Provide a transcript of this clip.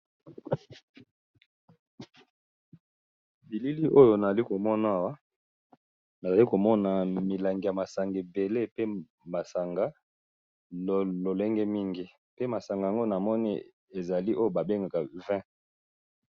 Bilili oyo nali komona awa nazali komona milangi ya masanga ebele pe masanga lolenge mingi, pe masanga yango namoni ezali oyo ba bengaka Vin.